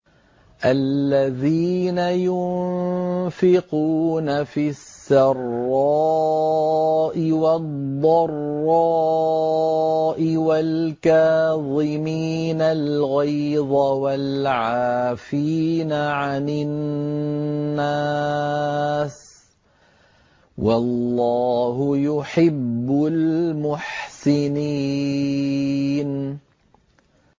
الَّذِينَ يُنفِقُونَ فِي السَّرَّاءِ وَالضَّرَّاءِ وَالْكَاظِمِينَ الْغَيْظَ وَالْعَافِينَ عَنِ النَّاسِ ۗ وَاللَّهُ يُحِبُّ الْمُحْسِنِينَ